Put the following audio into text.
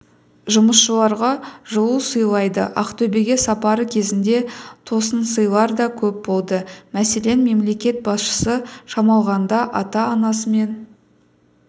жұмысшыларға жылу сыйлады ақтөбеге сапары кезінде тосынсыйлар да көп болды мәселен мемлекет басшысы шамалғанда ата-анасымен